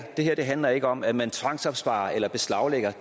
handler ikke om at man tvangsopsparer eller beslaglægger